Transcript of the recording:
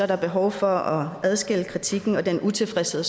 der behov for at adskille kritikken og den utilfredshed